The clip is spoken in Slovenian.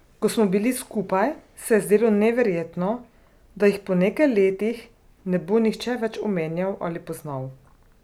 Ko smo bili skupaj, se je zdelo neverjetno, da jih po nekaj letih ne bo nihče več omenjal ali poznal.